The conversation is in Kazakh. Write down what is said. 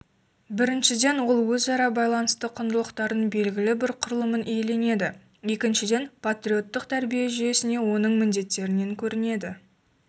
біріншіден ол өзара байланысты құндылықтарын белгілі бір құрылымын иеленеді екіншіден патриоттық тәрбие жүйесіне оның міндеттерінен көрінеді